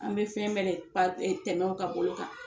An bɛ fɛn bɛɛ da pa tɛmɛ o ka bolo kan.